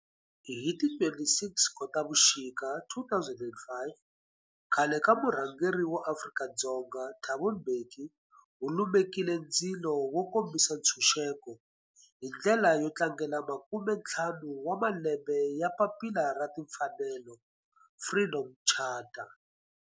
Hi ti 26 Khotavuxika 2005 khale ka murhangeri wa Afrika-Dzonga Thabo Mbeki u lumekile ndzilo wo kombisa ntshuxeko, hi ndlela yo tlangela makumentlhanu wa malembe ya papila ra timfanelo, Freedom Charter.